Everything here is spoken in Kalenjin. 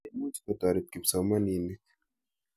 Che imuch kotoret kipsomaninik.